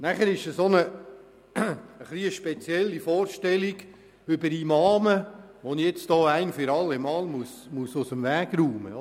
Weiter gibt es so eine spezielle Vorstellung über Imame, die ich hier ein für alle Mal aus dem Weg räumen muss: